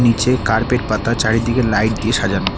নীচে কার্পেট পাতা চারিদিকে লাইট দিয়ে সাজানো।